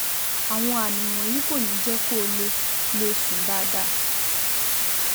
Àwọn àmì wọ̀nyí kò ní jẹ́ kó lè lè sùn dáadáa